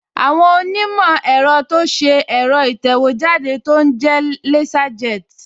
Àwọn onímọ̀ ẹ̀rọ ti ṣe ẹ̀rọ ìtẹ̀wéjáde tó ń jẹ́ Laserjet